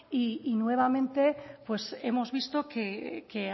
y nuevamente hemos visto que